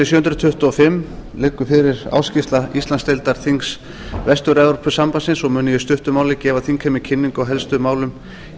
tuttugu og fimm liggur fyrir ársskýrsla íslandsdeildar þings vestur evrópusambandsins og mun ég í stuttu máli gefa þingheimi kynningu á helstu málum í